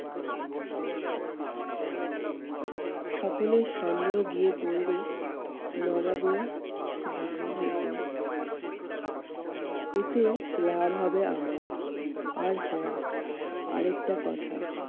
সকলের সন্দেহ গিয়ে পড়বে নবাবের শিবিরের উপর। এতে লাভ হবে আমার আর হ্যাঁ আরেকটা কথা,